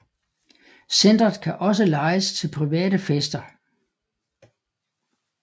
Centret kan også lejes til private fester